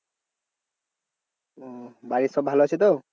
ওহ বাড়ির সব ভালো আছে তো?